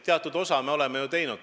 Teatud osas me oleme ju seda teinud.